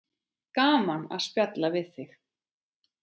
Gaman að spjalla við þig.